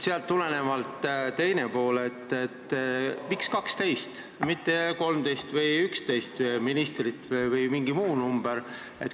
Aga ma küsin, miks oleks hea 12, mitte 13 või 11 ministrit või mingi muu number?